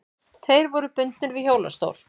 Tveir voru bundnir við hjólastól.